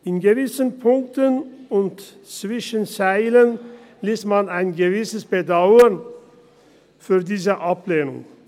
In gewissen Punkten und zwischen den Zeilen liest man ein gewisses Bedauern über diese Ablehnung.